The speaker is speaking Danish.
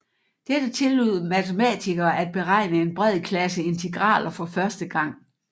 Dette tillod matematikere at beregne en bred klasse integraler for første gang